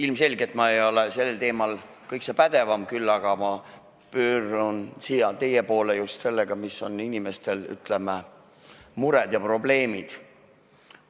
Ilmselgelt ei ole ma sel teemal kõikse pädevam, küll aga pöördun teie poole just sellel teemal, mis on inimeste, ütleme, mured ja probleemid.